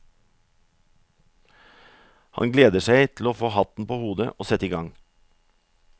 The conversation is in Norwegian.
Han gleder seg til å få hatten på hodet og sette i gang.